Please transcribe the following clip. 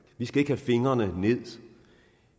vi skal ikke have fingrene ind